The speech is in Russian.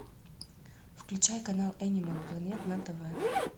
включай канал энимал планет на тв